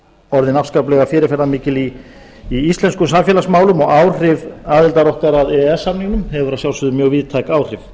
orðin afskaplega fyrirferðarmikil í íslenskum samfélagsmálum og áhrif aðildar okkar að e e s samningum hefur að sjálfsögðu mjög víðtæk áhrif